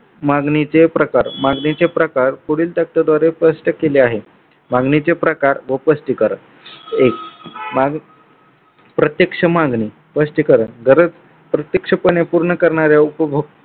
मागणीचे प्रकार मागणीचे प्रकार पुढील तत्वादारे स्पष्ट केले आहे. मागणीचे प्रकार व स्पष्टीकरण. एक मागणी प्रत्यक्ष मागणी स्पष्टीकरण गरज पूर्णपणे पूर्ण करणाऱ्या उपभोक्त्याला